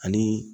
Ani